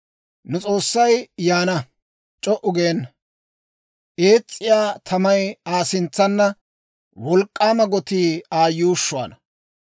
Nu S'oossay yaana; c'o"u geena. Ees's'iyaa tamay Aa sintsaana; wolk'k'aama gotii Aa yuushshuwaana.